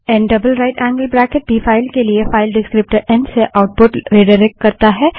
N double right angled bracket भी file के लिए फाइल डिस्क्रीप्टर एन से आउटपुट रिडाइरेक्ट करता है